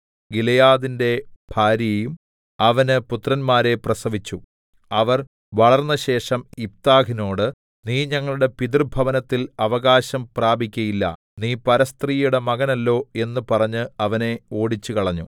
ഗിലെയാദിന്റെ ഭാര്യയും അവന് പുത്രന്മാരെ പ്രസവിച്ചു അവർ വളർന്നശേഷം യിഫ്താഹിനോട് നീ ഞങ്ങളുടെ പിതൃഭവനത്തിൽ അവകാശം പ്രാപിക്കയില്ല നീ പരസ്ത്രീയുടെ മകനല്ലോ എന്ന് പറഞ്ഞ് അവനെ ഓടിച്ചുകളഞ്ഞു